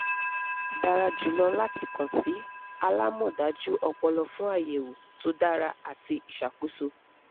dara julọ lati kan si alamọdaju ọpọlọ fun ayẹwo to dara ati iṣakoso